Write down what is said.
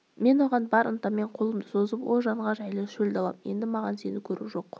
мен оған бар ынтаммен қолымды созып о жанға жайлы шөл далам енді маған сені көру жоқ